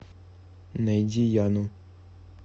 найди яну